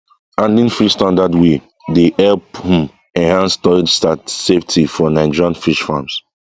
handling fish standard way dey help um enhance storage safety for nigerian fish farms